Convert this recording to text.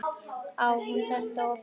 Á hún þetta oft til?